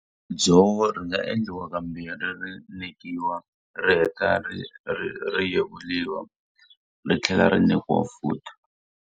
Dzovo ri nga endliwa kambirhi ri nekiwa, ri heta ri ri yevuriwa ri tlhela ri nekiwa futhi.